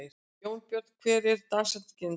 Jónbjörn, hver er dagsetningin í dag?